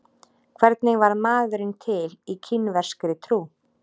Hvernig varð maðurinn til í kínverskri trú?